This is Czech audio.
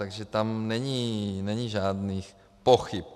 Takže tam není žádných pochyb.